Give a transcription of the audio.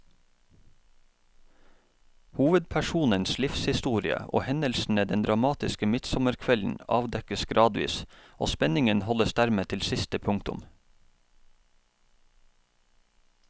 Hovedpersonens livshistorie og hendelsene den dramatiske midtsommerkvelden avdekkes gradvis, og spenningen holdes dermed til siste punktum.